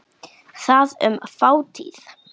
Það mun fátítt.